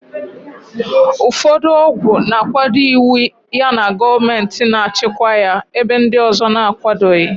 Ụfọdụ ọgwụ na-akwado iwu yana gọọmentị na-achịkwa ya, ebe ndị ọzọ na-akwadoghị.